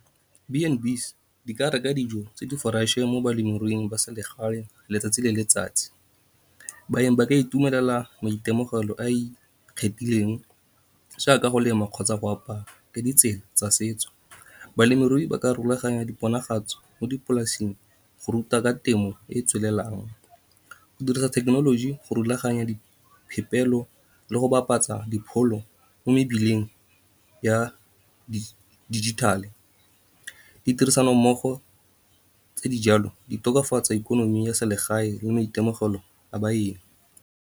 B and Bees di ka reka dijo tse di-fresh-e mo balemiruing ba selegae letsatsi le letsatsi. Baeng ba ka itumelela maitemogelo a a ikgethileng jaaka ka go lema kgotsa go apaya ka ditsela tsa setso. Balemirui ba ka rulaganya mo dipolaseng go ruta ka temo e e tswelelang, go dirisa thekenoloji, go rulaganya diphepelo le go bapatsa dipholo mo mebileng ya dijithale. Di tirisanommogo tse di jalo di tokafatsa ikonomi ya selegae le maitemogelo a baeng.